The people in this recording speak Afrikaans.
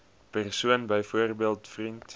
persoon byvoorbeeld vriend